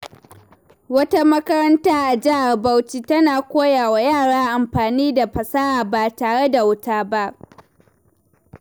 Wata makaranta a Jihar Bauchi tana koya wa yara amfani da fasaha ba tare da wuta ba.